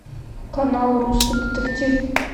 канал русский детектив